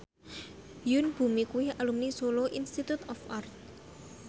Yoon Bomi kuwi alumni Solo Institute of Art